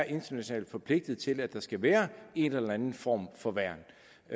international forpligtelse til at der skal være en eller anden form for værn